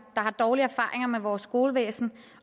dårlige erfaringer med vores skolevæsen